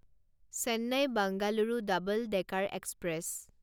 Chennai Bengaluru double decker express